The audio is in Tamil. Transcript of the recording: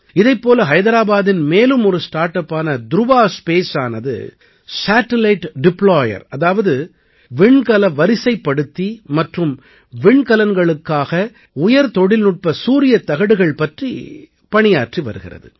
இதைப் போல ஹைதராபாதின் மேலும் ஒரு ஸ்டார்ட் அப்பான துருவா ஸ்பேஸானது சேடிலைட் ட்ப்ளாயர் அதாவது விண்கல வரிசைப்படுத்தி மற்றும் விண்கலங்களுக்காக உயர் தொழில்நுட்ப சூரியத்தகடுகள் பற்றி பணியாற்றி வருகிறது